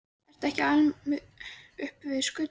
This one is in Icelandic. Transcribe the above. Ekki ertu alinn upp við skötu?